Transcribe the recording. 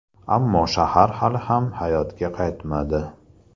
Ammo shahar hali ham hayotga qaytmadi.